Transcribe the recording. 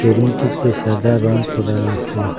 রুমটিতে সাদা রং করা আছে।